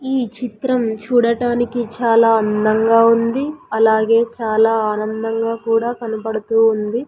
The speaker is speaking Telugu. ఈ చిత్రం చూడటానికి చాలా అందంగా ఉంది అలగే చాలా ఆనందంగా కూడా కనపడుతూ ఉంది.